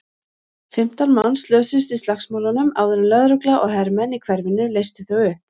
Fimmtán manns slösuðust í slagsmálunum áður en lögregla og hermenn í hverfinu leystu þau upp.